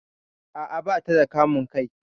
A'a, bata da kamun kai